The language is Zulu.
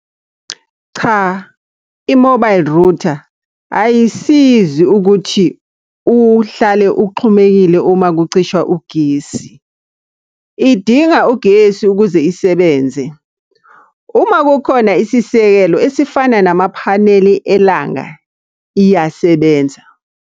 Cha, i-mobile rutha ayisizi ukuthi uhlale uxhumekile uma kucisha ugesi. Idinga ugesi ukuze isebenze. Uma kukhona isisekelo esifana namaphaneli elanga, iyasebenza.